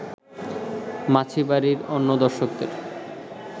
মাছি বাড়ির অন্য দর্শকদের